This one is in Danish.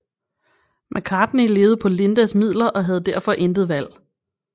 McCartney levede på Lindas midler og havde derfor intet valg